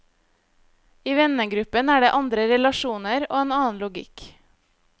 I vennegruppen er det andre relasjoner og en annen logikk.